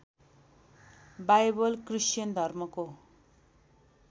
Bible Christian धर्मको